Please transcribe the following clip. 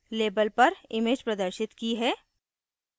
label पर image प्रदर्शित की है